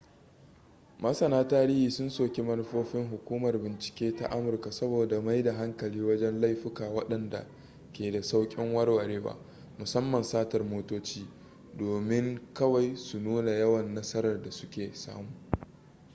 masana tarihi sun soki manufofin hukumar bincike ta amurka saboda mai da hankali wajen laifuka wadanda ke da saukin warwarewa musamman satar motoci domin kawai su nuna yawan nasarar da su ke samu